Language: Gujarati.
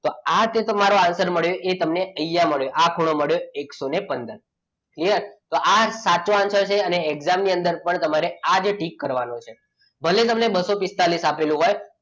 તો આજે તમારો answer મળ્યો. એ તમને અહીંયા મળ્યો આ ખૂણો મળ્યો એકસો પંદર જે આ સાચો answer છે અને exam ની અંદર પણ તમારે આજે ટીક કરવાનું છે ભલે તમને બસો પિસ્તાળીસ આપેલું હોય.